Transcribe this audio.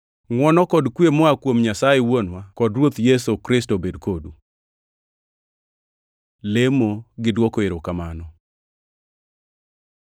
Ngʼwono kod kwe moa kuom Nyasaye Wuonwa kod Ruoth Yesu Kristo obed kodu. Lemo gi dwoko erokamano